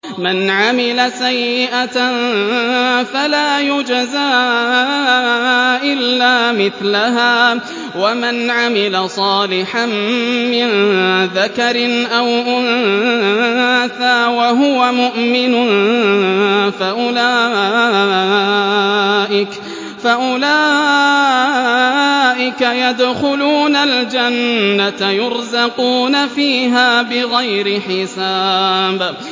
مَنْ عَمِلَ سَيِّئَةً فَلَا يُجْزَىٰ إِلَّا مِثْلَهَا ۖ وَمَنْ عَمِلَ صَالِحًا مِّن ذَكَرٍ أَوْ أُنثَىٰ وَهُوَ مُؤْمِنٌ فَأُولَٰئِكَ يَدْخُلُونَ الْجَنَّةَ يُرْزَقُونَ فِيهَا بِغَيْرِ حِسَابٍ